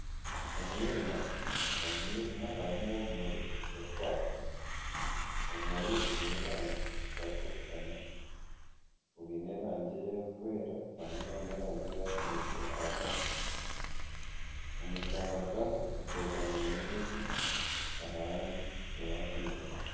Omwirima, omu mwirima harimu ebimuri birikwaka ebimuri biine erangi zitarikushuushana, byiine erangi erikwera hamwe n'erangi eya kinekye ahagati omu kamuri kamwe hateekamiremu enjoki aha rangi eya kinekye.